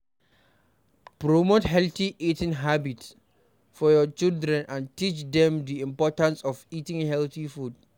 Promote healthy eating habits for your children and teach dem di importance of eating healthy food